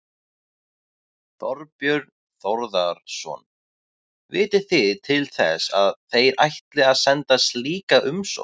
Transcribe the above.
Þorbjörn Þórðarson: Vitið þið til þess að þeir ætli að senda slíka umsókn?